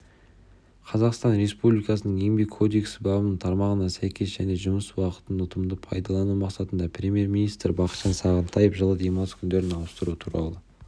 қазақстан республикасының еңбек кодексі бабының тармағына сәйкес және жұмыс уақытын ұтымды пайдалану мақсатында премьер-министрі бақытжан сағынтаев жылы демалыс күндерін ауыстыру туралы